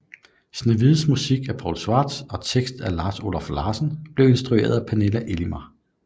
Snehvide med musik af Paul Schwartz og tekst af Lars Oluf Larsen blev instrueret af Pernille Elimar